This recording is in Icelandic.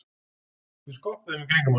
Við skoppuðum í kringum hann.